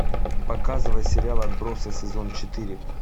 показывай сериал отбросы сезон четыре